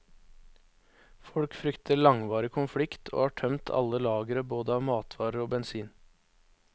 Folk frykter langvarig konflikt, og har tømt alle lagre både av matvarer og bensin.